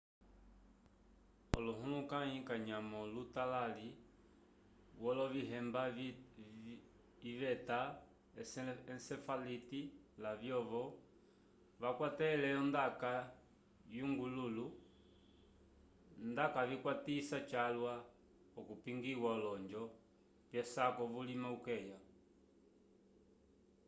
olohulukãyi kanyamo lutalali wolovihemba iveta encefalite lavyovo vakwatele ondaka yonguvulu ndacavakwatisa calwa okupongiya olonjo vyesaku vulima ukeya